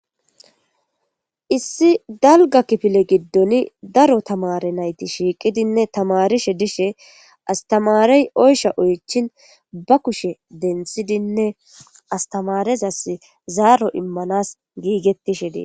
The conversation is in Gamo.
issi dalga kifile giddoni daro tamare nayti shiiqidinne tamarishe dishe astamarey oysha oychin ba kushe densidinne astamarezas zaaro immanas giigettishe die